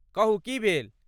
कहू की भेल?